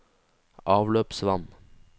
avløpsvann